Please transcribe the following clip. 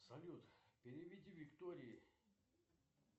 салют переведи виктории